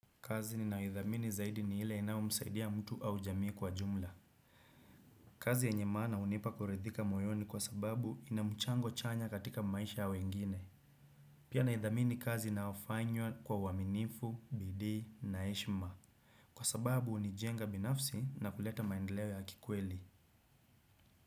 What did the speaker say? Kazi ninayo idhamini zaidi ni ile inayomsaidia mtu au jamii kwa jumla. Kazi yenye maana hunipa kuridhika moyoni kwa sababu inamchango chanya katika maisha ya wengine. Pia naithamini kazi inayofanywa kwa uaminifu, bidii, na heshima. Kwa sababu ni jenga binafsi na kuleta maendeleo ya kikweli.